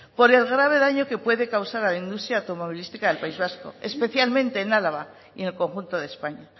por el grave daño que puede causar a la industria automovilística del país vasco especialmente en álava y en el conjunto de españa